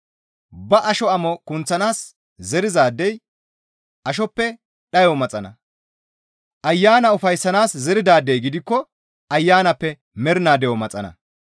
Ba asho amo kunththanaas zerizaadey ashoppe dhayo maxana; Ayana ufayssanaas zeridaadey gidikko ayanappe mernaa de7o maxana.